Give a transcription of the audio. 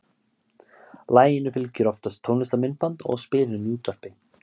Laginu fylgir oftast tónlistarmyndband og spilun í útvarpi.